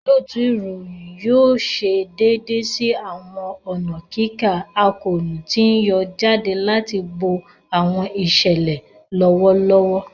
Olootu iroyin yoo ṣe deede si awọn ọna kika akoonu ti n yọ jade ati bo awọn iṣẹlẹ lọwọlọwọ.